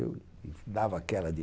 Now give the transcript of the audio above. Eu dava aquela de...